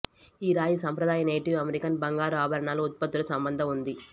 ఈ రాయి సంప్రదాయ నేటివ్ అమెరికన్ బంగారు ఆభరణాలు ఉత్పత్తులు సంబంధం ఉంది